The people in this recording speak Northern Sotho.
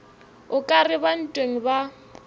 o ka reba ntweng ba